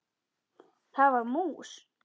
Það var mús!